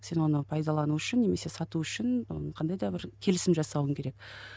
сен оны пайдалану үшін немесе сату үшін і қандай да бір келісім жасауың керек